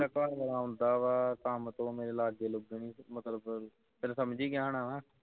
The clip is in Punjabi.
ਮੇਰਾ ਘਰ ਵਾਲਾ ਵਾ ਕੰਮ ਤੋਂ ਮੇਰੇ ਲੱਗਣ ਲੱਗੇ ਮਤਲਬ ਫੇਰ ਸਮਝ ਗਿਆ ਹੋਣਾ ਵਾਂ